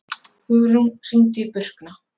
Hugrún, hringdu í Burkna.